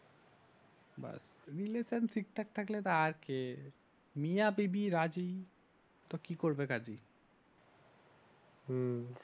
relation ঠিকঠাক থাকলে তো আর কি মিয়া বিবি রাজি তো কি করবে কাজী হম